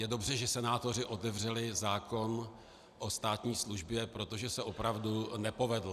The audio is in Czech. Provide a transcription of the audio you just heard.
Je dobře, že senátoři otevřeli zákon o státní službě, protože se opravdu nepovedl.